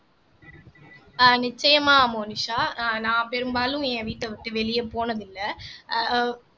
ஆஹ் நிச்சயமா மோனிஷா அஹ் நான் பெரும்பாலும் என் வீட்டை விட்டு வெளியே போனதில்ல ஆஹ்